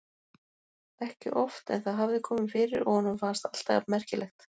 Ekki oft en það hafði komið fyrir og honum fannst það alltaf jafn merkilegt.